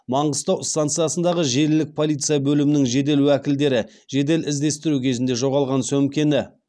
маңғыстау станциясындағы желілік полиция бөлімінің жедел уәкілдері жедел іздестіру кезінде жоғалған сөмкені